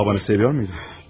Atanı sevirdinmi?